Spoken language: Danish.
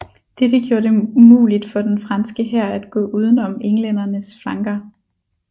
Dette gjorde det umuligt for den franske hær at gå uden om englændernes flanker